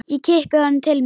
Ég kippi honum til mín.